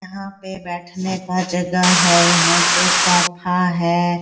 यहाँ पे बैठने का जगह है यहाँ पे सोफा है।